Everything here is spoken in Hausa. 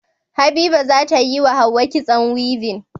Habiba zatayi wa hauwa kitson weaving